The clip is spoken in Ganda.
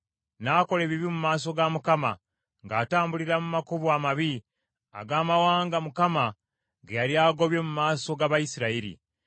N’akola ebibi mu maaso ga Mukama , ng’atambulira mu makubo amabi ag’amawanga Mukama ge yali agobye mu maaso g’Abayisirayiri.